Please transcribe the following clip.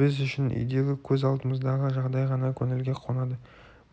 біз үшін үйдегі көз алдымыздағы жағдай ғана көңілге қонады